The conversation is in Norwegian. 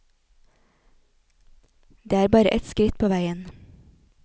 Det er bare et skritt på veien.